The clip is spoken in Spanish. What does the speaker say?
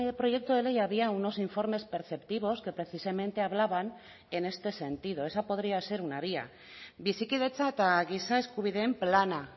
proyecto de ley había unos informes perceptivos que precisamente hablaban en este sentido esa podría ser una vía bizikidetza eta giza eskubideen plana